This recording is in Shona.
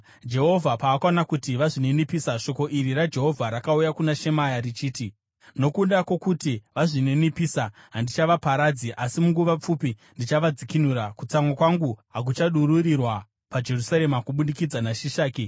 Jehovha paakaona kuti vazvininipisa, shoko iri raJehovha rakauya kuna Shemaya richiti, “Nokuda kwokuti vazvininipisa, handichavaparadzi asi munguva pfupi ndichavadzikinura. Kutsamwa kwangu hakuchadururirwa paJerusarema kubudikidza naShishaki.